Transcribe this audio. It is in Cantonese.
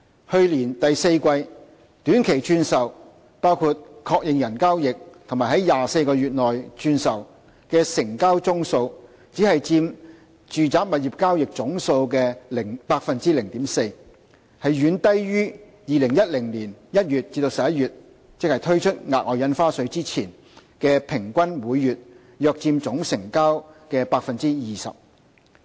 去年第四季，短期轉售，包括確認人交易和在24個月內轉售的成交宗數只佔住宅物業交易總數的 0.4%， 遠低於2010年1月至11月，即推出額外印花稅前的數字，即平均每月約佔總成交 20%。